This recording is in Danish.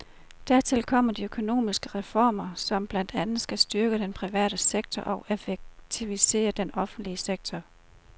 Dertil kommer de økonomiske reformer, som blandt andet skal styrke den private sektor og effektivisere den offentlige sektor.